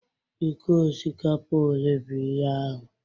Ike osikapa ole bụ ihe ahụ?